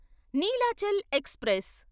Nilachal express